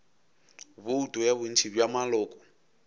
bouto ya bontši bja maloko